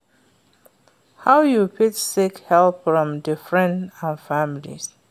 how you fit seek help from di friends and family?